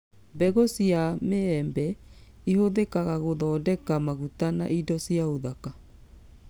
Mbegũ cia mũĩembe ĩhũthikaga gũthondeka maguta ma indo cia ũthaka